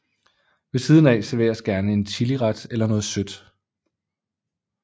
Ved siden af serveres gerne en chiliret eller noget sødt